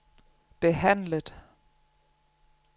behandlet